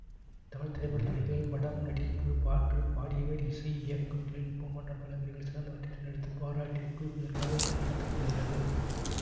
தமிழ் திரைப்பட துறையில் படம் நடிப்பு பாட்டு பாடியவர் இசை இயக்கம் தொழில் நுட்பம் போன்ற பல பிரிவுகளில் சிறந்தவற்றைத் தேர்ந்தெடுத்துப் பாராட்டி ஊக்குவிப்பதற்காக இவ்விழா நடத்த படுகிறது